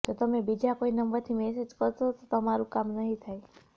જો તમે બીજા કોઈ નંબરથી મેસેજ કરશો તો તમારું કામ નહીં થાય